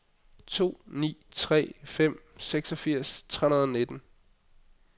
to ni tre fem seksogfirs tre hundrede og nitten